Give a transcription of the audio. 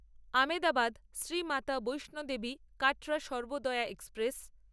Ahmedabad Shri Mata Vaishno Devi Katra Sarvodaya express